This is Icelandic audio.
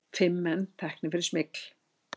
Fimm menn teknir fyrir smygl